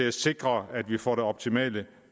at sikre at vi får det optimale